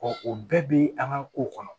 o bɛɛ bɛ an ka ko kɔnɔ